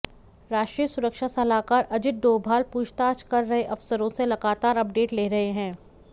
राष्ट्रीय सुरक्षा सलाहकार अजित डोभाल पूछताछ कर रहे अफसरों से लगातार अपडेट ले रहे हैं